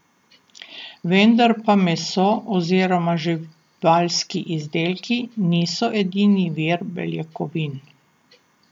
Vendar pa meso oziroma živalski izdelki niso edini vir beljakovin.